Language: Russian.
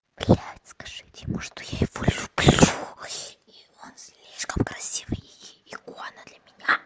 блядь скажите ему что я его люблю и он слишком красивый и икона для меня